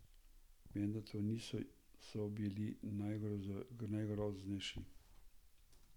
Vendar ti niso bili najgroznejši.